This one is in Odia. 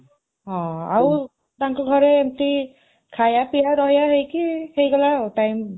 ହଁ, ଆଉ ତାଙ୍କ ଘରେ ଏମିତି ଖାଇବା ପିଇବା ରହିବା ହେଇକି ହେଇଗଲା ଆଉ time